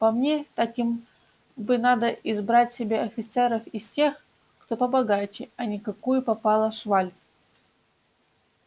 по мне так им бы надо избрать себе офицеров из тех кто побогаче а не какую попало шваль